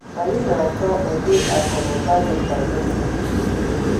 Anyị na-achọ ụdị akụnụba dị ka gịnị?